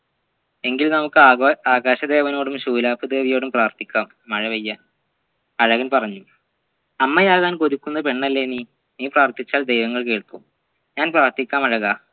എങ്കിൽ നമ്മുക്ക് ആക ആകാശദേവനോടും ശൂലപ്പു ദേവിയോടിയും പ്രാർത്ഥിക്കാം മഴപെയ്യാൻ അഴകൻ പറഞ്ഞു അമ്മയാകാൻ കൊതിക്കുന്ന പെണ്ണല്ലേ നീ നീ പ്രാർത്ഥിച്ചാൽ ദൈവങ്ങൾ കേൾക്കും ഞാൻ പ്രാർത്ഥിക്കാം അഴകാ